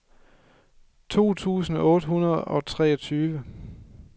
tre tusind otte hundrede og treogtyve